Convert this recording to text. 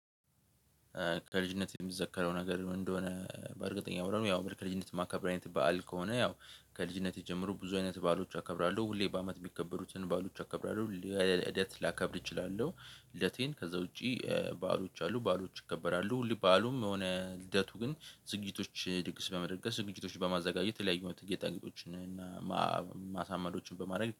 ከልጅነት የሚዘከረው ነገር ምን እንደሆነ በእርግጠኛ ያወራነው ያው ከልጅነት ማከብረው አይነት በዓል ከሆነ ያው ከልጅነት ጀምሮ ብዙ አይነት ባሎች አከብራለሁ ሁሌ በአመት የሚከበሩትን ባሎች አከብራለሁ ልደት ላከብር እችላለሁ ልደቴን ከዛ ውጪ ባሎች አሉ ባሎች ይከበራ። ሁሉ ባሉም የሆነ ልደቱ ግን ዝግጅቶች ድግስ በመደገፍ ዝግጅቶች በማዘጋጀት የተለያዩ አይነት ጌጣጌጦችን እና ማሳመዶችን በማድረግ